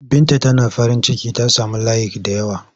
Binta Tana farinciki ta sami layik da yawa.